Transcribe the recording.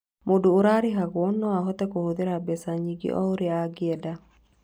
Mũndũ ũrarĩhagwo no ahote kũhũthĩra mbeca nyingĩ o ũrĩa angĩenda.